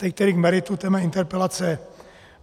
Teď tedy k meritu mé interpelace.